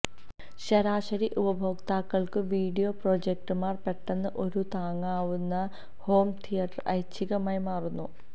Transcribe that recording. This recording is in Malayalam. ശരാശരി ഉപഭോക്താക്കൾക്ക് വീഡിയോ പ്രൊജക്ടർമാർ പെട്ടെന്ന് ഒരു താങ്ങാവുന്ന ഹോം തിയേറ്റർ ഐച്ഛികമായി മാറുന്നു